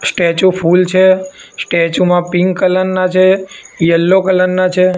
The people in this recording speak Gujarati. સ્ટેચ્યુ ફૂલ છે સ્ટેચ્યુ મા પિંક કલર ના છે યલો કલર ના છે.